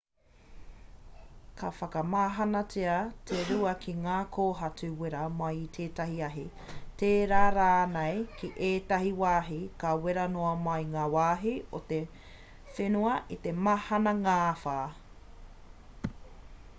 ka whakamahanatia te rua ki ngā kōhatu wera mai i tētahi ahi tērā rānei ki ētahi wāhi ka wera noa mai ngā wāhi o te whenua i te mahana ngāwhā